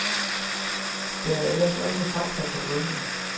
Der er ellers også fakta på bunden.